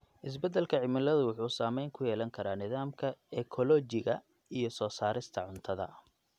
Isbedelka cimilada wuxuu saameyn ku yeelan karaa nidaamka ekoolojiga iyo soo saarista cuntada.